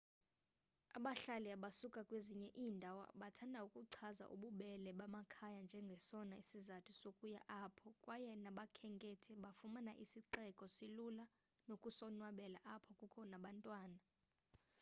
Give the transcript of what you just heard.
abahlali abasuka kwezinye iindawo bathanda ukuchaza ububele bamakhaya njengesona sizathu sokuya apho kwaye nabakhenkethi bafumana isixeko silula nokusonwabela apho kukho nabantwana